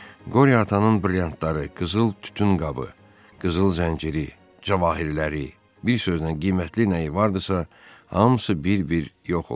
Qoryo atanın brilliantları, qızıl tütün qabı, qızıl zənciri, cəvahirləri, bir sözlə qiymətli nəyi vardısa, hamısı bir-bir yox olurdu.